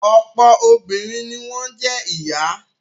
Ọ̀pọ̀ obìnrin ni wọ́n jẹ́ ìyá.